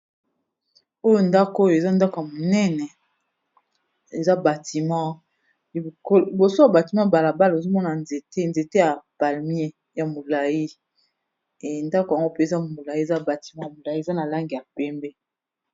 Oyo ndako oyo eza ndako ya monene eza batiment, liboso ya batiment ya bala bala ozo mona nzete. Nzete ya palmier ya molayi, eh ndako yango mpe eza molayi eza batiment ya molayi eza na langi ya pembe.